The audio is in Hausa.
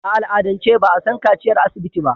A al'adance ba a san kaciyar asibiti ba.